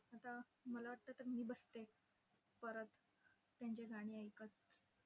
आता मला वाटतं तर मी बसते. परत त्यांची गाणी ऐकत.